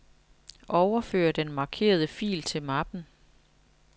Overfør den markerede fil til mappen.